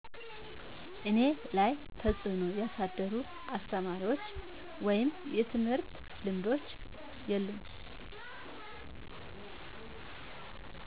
እኔ ላይ ተፅእኖ ያሳደሩ አስተማሪዎች ወይም የትምህርት ልምዶች የሉም